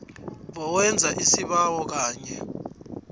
bowenza isibawo kanye